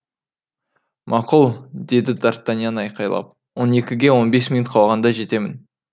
мақұл деді д артаньян айқайлап он екіге он бес минут қалғанда жетемін